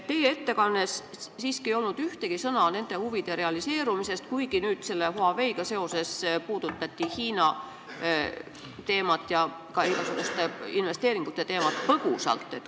Teie ettekandes ei olnud siiski ühtegi sõna nende huvide realiseerumisest, kuigi nüüd Huaweiga seoses puudutati põgusalt Hiina teemat ja ka investeeringute teemat.